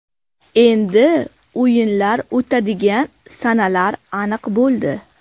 Endi o‘yinlar o‘tadigan sanalar aniq bo‘ldi.